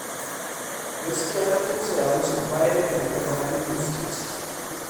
Gaskiya na tausaya musu bayan da na ga halin da suke ciki.